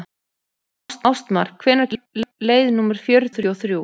Ástmar, hvenær kemur leið númer fjörutíu og þrjú?